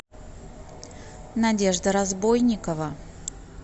надежда разбойникова